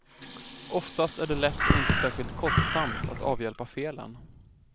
Oftast är det lätt och inte särskilt kostsamt att avhjälpa felen.